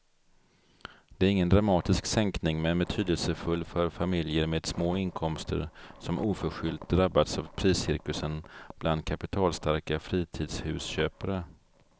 Det är ingen dramatisk sänkning men betydelsefull för familjer med små inkomster som oförskyllt drabbats av priscirkusen bland kapitalstarka fritidshusköpare.